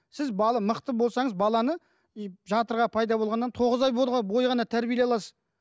сіз бала мықты болсаңыз баланы и жатырға пайда болғаннан тоғыз ай бойы ғана тәрбиелей аласыз